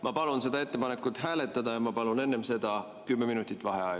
Ma palun ettepanekut hääletada ja palun enne seda 10 minutit vaheaega.